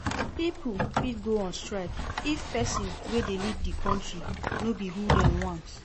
Pipo fit go on strike if persin wey de lead di country no be who dem want